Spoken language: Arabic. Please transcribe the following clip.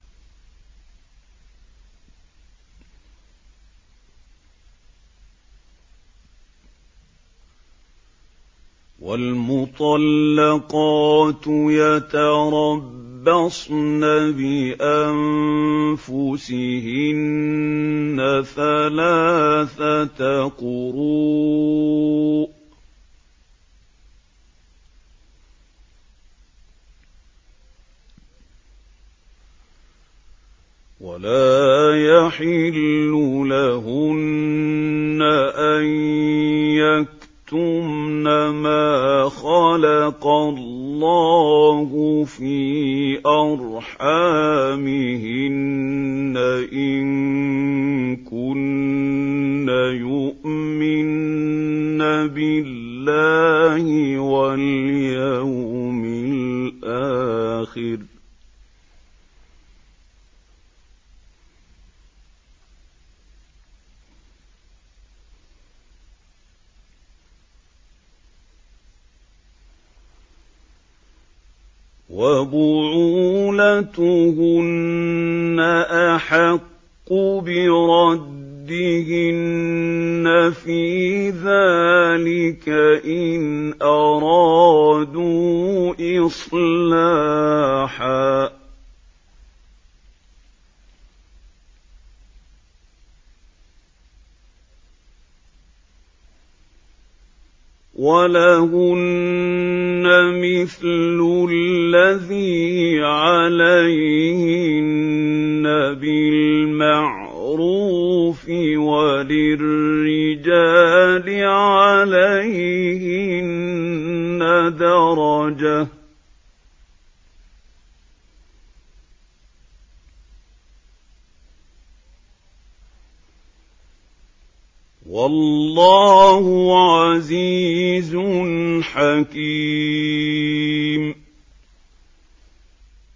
وَالْمُطَلَّقَاتُ يَتَرَبَّصْنَ بِأَنفُسِهِنَّ ثَلَاثَةَ قُرُوءٍ ۚ وَلَا يَحِلُّ لَهُنَّ أَن يَكْتُمْنَ مَا خَلَقَ اللَّهُ فِي أَرْحَامِهِنَّ إِن كُنَّ يُؤْمِنَّ بِاللَّهِ وَالْيَوْمِ الْآخِرِ ۚ وَبُعُولَتُهُنَّ أَحَقُّ بِرَدِّهِنَّ فِي ذَٰلِكَ إِنْ أَرَادُوا إِصْلَاحًا ۚ وَلَهُنَّ مِثْلُ الَّذِي عَلَيْهِنَّ بِالْمَعْرُوفِ ۚ وَلِلرِّجَالِ عَلَيْهِنَّ دَرَجَةٌ ۗ وَاللَّهُ عَزِيزٌ حَكِيمٌ